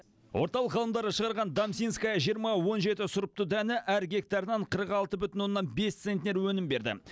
орталық ғалымдары шығарған дамсинская жиырма он жеті сұрыпты дәні әр гектарынан қырық алты бүтін оннан бес центнер өнім берді